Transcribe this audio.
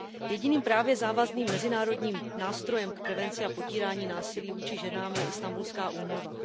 Jediným právně závazným mezinárodním nástrojem k prevenci a potírání násilí vůči ženám je Istanbulská úmluva.